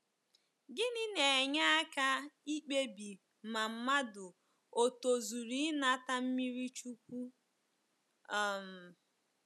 Gịnị na-enye aka ikpebi ma mmadụ o tozuru inata mmiri chukwu? um